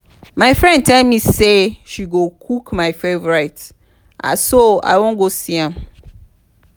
my friend tell me say she go cook my favourite so i wan go see am